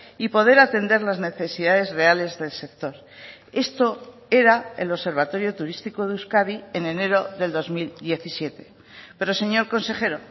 y poder atender las necesidades reales del sector esto era el observatorio turístico de euskadi en enero del dos mil diecisiete pero señor consejero